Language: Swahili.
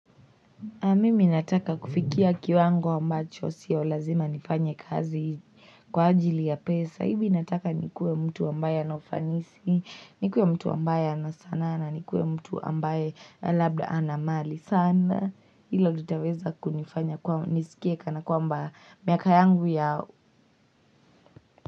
Mimi nataka kufikia kiwango ambacho sio lazima nifanye kazi kwa ajili ya pesa. Hivi nataka nikuwe mtu ambaye ana ufanisi, nikuwe mtu ambaye ana sanaa na nikuwe mtu ambaye labda ana mali. Sana hilo litaweza kunifanya kuwa niskie kana kwamba miaka yangu ya.